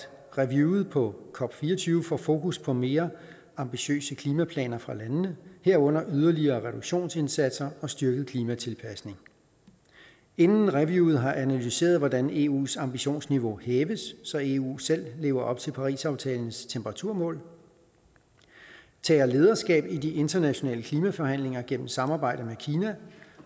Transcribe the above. reviewet på cop24 får fokus på mere ambitiøse klimaplaner fra landene herunder yderligere reduktionsindsatser og styrket klimatilpasning inden reviewet har analyseret hvordan eu’s ambitionsniveau hæves så eu selv lever op til parisaftalens temperaturmål tager lederskab i de internationale klimaforhandlinger gennem samarbejde med kina